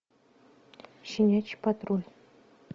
щенячий патруль